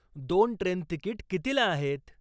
दोन train ticket कितीला आहेत